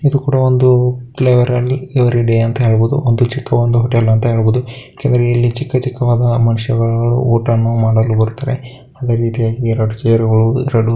ಇದು ಕೂಡ ಒಂದು ಫ್ಲೇವರಲ್ಲಿ ಎವರಿಡೆ ಅಂತ ಹೇಳಬಹುದು ಒಂದು ಚಿಕ್ಕ ಹೊಟೆಲ ಅಂತ ಹೆಳಬಹುದು ಏಕೆಂದರಿಲ್ಲಿ ಚಿಕ್ಕಚಿಕ್ಕ ಒಂದು ಮನುಷ್ಯಗಳು ಮಾಡಲು ಬರುತ್ತಾರೆ ಅದೆರಿತಿಯಗಿ ಎರಡು ಚೆರಗಳು .